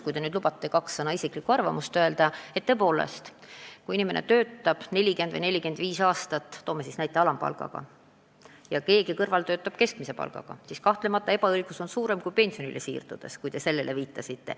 Kui te nüüd lubate mul kahe sõnaga oma isiklikku arvamust öelda, siis ma olen selles osas teiega nõus, et tõepoolest, kui inimene töötab 40 või 45 aastat alampalga eest ja keegi teine keskmise palga eest, siis kahtlemata on ebaõiglus suurem kui nende pensionile siirdudes, nagu te viitasite.